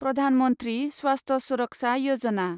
प्रधान मन्थ्रि स्वास्थ्य सुरक्षा यजना